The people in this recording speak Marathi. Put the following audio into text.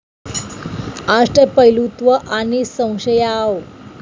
अष्टपैलुत्व आणि संशयाव